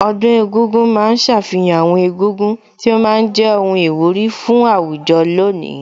Ọdún egúngún ma ń ṣàfihàn àwọn egúngún tí ó ma ń jẹ́ ohun ìwúrí fún àwùjọ lónìí